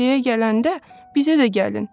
Meşəyə gələndə bizə də gəlin.